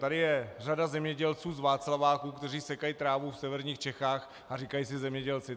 Tady je řada zemědělců z Václaváku, kteří sekají trávu v severních Čechách a říkají si zemědělci.